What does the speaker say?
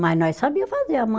Mas nós sabia fazer.